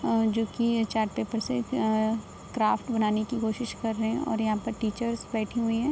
अ जो की chart paper से अ क्राफ्ट बनाने की कोशिश कर रहे हैं और यहाँ पर टीचर्स बैठी हैं।